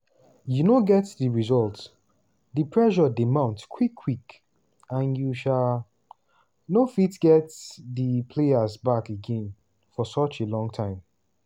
you no get di results di pressure dey mount quick-quick and you um no fit get [di players] back again for such a long time.